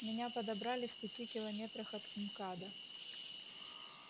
меня подобрали в пяти километрах от мкада